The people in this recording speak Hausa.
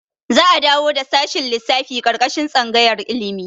Za'a dawo da shashin lissafi ƙarƙashin tsangayar ilimi.